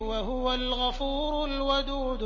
وَهُوَ الْغَفُورُ الْوَدُودُ